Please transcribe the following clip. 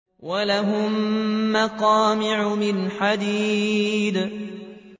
وَلَهُم مَّقَامِعُ مِنْ حَدِيدٍ